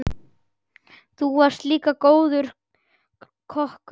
Þú varst líka góður kokkur.